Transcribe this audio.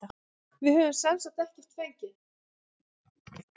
Við höfum semsagt ekki fengið.